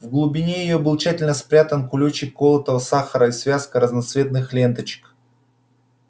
в глубине её был тщательно спрятан кулёчек колотого сахара и связка разноцветных ленточек